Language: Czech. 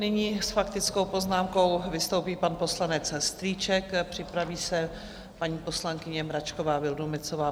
Nyní s faktickou poznámkou vystoupí pan poslanec Strýček, připraví se paní poslankyně Mračková Vildumetzová.